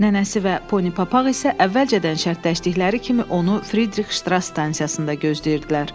Nənəsi və Pony Papaq isə əvvəlcədən şərtləşdikləri kimi onu Fridrix Ştras stansiyasında gözləyirdilər.